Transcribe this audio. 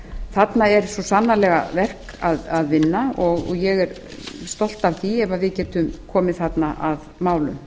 þarna er svo sannarlega verk að vinna og ég er stolt af því ef við getum komið þarna að málum